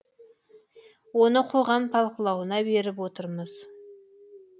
оны қоғам талқылауына беріп отырмыз